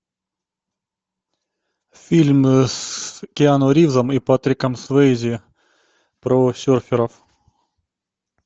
фильм с киану ривзом и патриком суэйзи про серферов